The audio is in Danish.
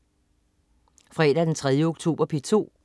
Fredag den 3. oktober - P2: